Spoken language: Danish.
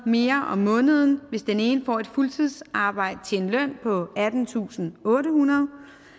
mere om måneden hvis den ene får et fuldtidsarbejde til en løn på attentusinde og ottehundrede